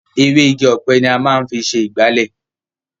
Ewé Igi ọ̀pẹ ni a máa ń fi ṣe ìgbálẹ̀.